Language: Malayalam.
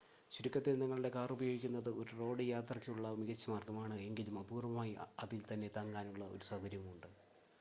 "ചുരുക്കത്തിൽ നിങ്ങളുടെ കാർ ഉപയോഗിക്കുന്നത് ഒരു റോഡ് യാത്രയ്ക്കുള്ള മികച്ച മാർഗമാണ്. എങ്കിലും അപൂർവ്വമായി അതിൽ തന്നെ "തങ്ങാനുള്ള" ഒരു സൗകര്യവുമുണ്ട്.